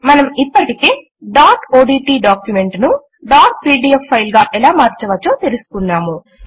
మనం ఇప్పటికే dot odt document ను డాట్ పీడీఎఫ్ ఫైల్ గా ఎలా మార్చవచ్చో తెలుసుకున్నాము